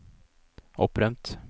opprømt